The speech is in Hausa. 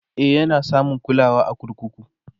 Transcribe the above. e Yana samun kulawa a kurkuku